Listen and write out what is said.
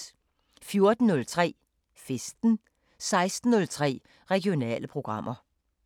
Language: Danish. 14:03: Festen 16:03: Regionale programmer